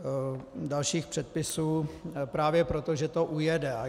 Dalších předpisů právě proto, že to ujede.